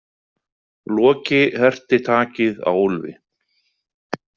Loki herti takið á Úlfi.